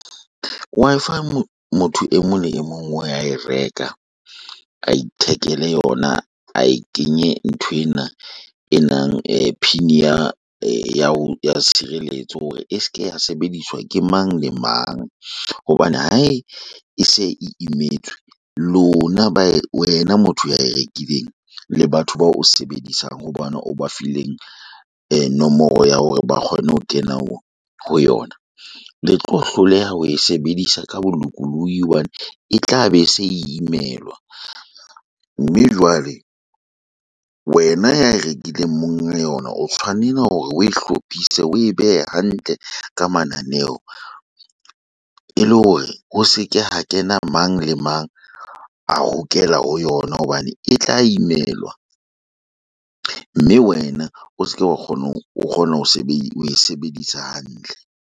Wi-Fi motho e mong le e mong wa e reka, a ithekele yona. A e kenye nthwena e nang pin ya ya tshireletso hore e seke ya sebediswa ke mang le mang. Hobane ha e se e imetswe, lona ba wena motho ya e rekileng. Le batho bao o sebedisang ho bona o ba fileng nomoro ya hore ba kgone ho kena ho yona. Le tlo hloleha ho e sebedisa ka bolokolohi, hobane e tla be se imelwa. Mme jwale wena ya e rekileng monga yona, o tshwanela hore o e hlopise o e behe hantle ka mananeo. E le hore ho se ke ha kena mang le mang a hokela ho yona hobane e tla imelwa. Mme wena o seke wa kgona ho o kgona ho e sebedisa hantle.